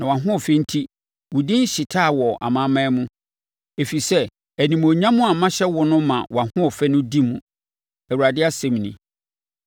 Na wʼahoɔfɛ enti, wo din hyetaa wɔ amanaman mu, ɛfiri sɛ animuonyam a mahyɛ wo no ma wʼahoɔfɛ no di mu, Awurade asɛm nie.